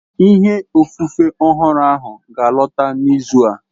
Ìhe ofufe ọhụrụ ahụ ga alọta n'izu a